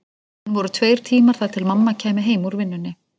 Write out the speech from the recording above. Enn voru tveir tímar þar til mamma kæmi heim úr vinnunni.